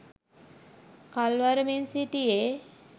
කල් වරමින් සිටියේ